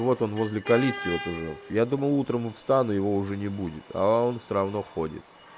вот он возле калитки вот уже я думал утром встану его уже не будет а он всё равно ходит